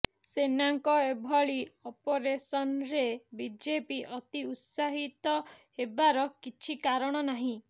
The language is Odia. ସେନାଙ୍କ ଏଭଳି ଅପରେସନରେ ବିଜେପି ଅତି ଉତ୍ସାହିତ ହେବାର କିଛି କାରଣ ନାହିଁ